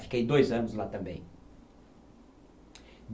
Fiquei dois anos lá também.